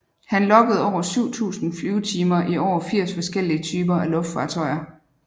Han loggede over 7000 flyvetimer i over 80 forskellige typer af luftfartøjer